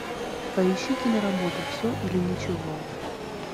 поищи киноработу все или ничего